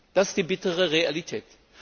Das ist die bittere Realität.